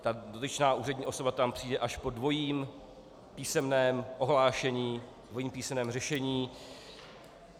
Ta dotyčná úřední osoba tam přijde až po dvojím písemném ohlášení, dvojím písemném řešení.